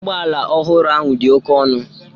Ụgbọ ala ọhụrụ ahụ dị oke ọnụ